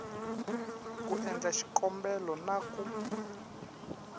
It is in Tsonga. ku endla xikombelo na ku